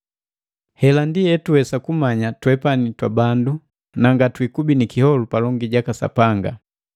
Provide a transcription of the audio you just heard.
Hela ndi etuwesa kumanya twepani twabandu ba sakaka; na ngatwiikubi ni kiholu palongi jaka Sapanga: